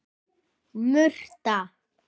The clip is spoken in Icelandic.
Murta